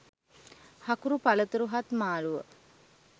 හකුරු පලතුරු හත් මාළුව